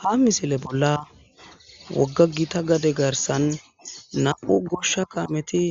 ha misile bolla wogga gita gade garsan nam'u goshsha kameti